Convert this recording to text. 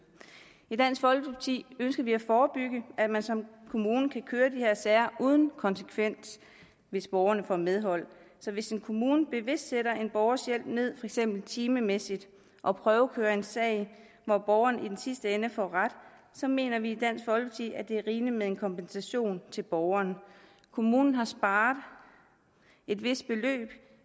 i dansk folkeparti ønsker vi at forebygge at man som kommune kan køre de her sager uden konsekvens hvis borgerne får medhold så hvis en kommune bevidst sætter en borgers hjælp ned eksempel timemæssigt og prøvekører en sag hvor borgeren i sidste ende får ret så mener vi i med en kompensation til borgeren kommunen har sparet et vist beløb